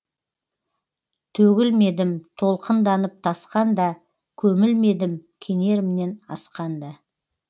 төгілмедім толқынданып тасқанда көмілмедім кенерімнен асқанда